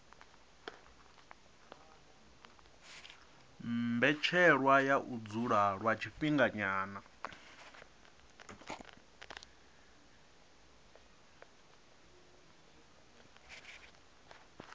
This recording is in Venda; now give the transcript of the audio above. mbetshelwa ya u dzula lwa tshifhinganyana